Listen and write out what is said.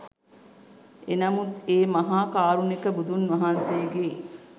එනමුත් ඒ මහා කාරුණික බුදුන් වහන්සේගේ